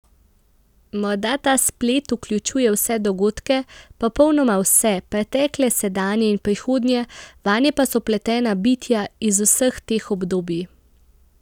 Morda ta splet vključuje vse dogodke, popolnoma vse, pretekle, sedanje in prihodnje, vanje pa so vpletena bitja iz vseh teh obdobij.